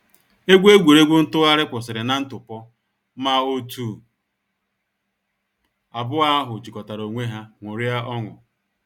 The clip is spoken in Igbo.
Egwu egwuregwu ntụgharị kwụsịrị na ntụpọ, ma òtù abụọ ahụ jikọtara onwe ya ṅụrịa ọṅụ.